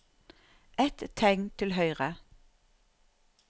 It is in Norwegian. Ett tegn til høyre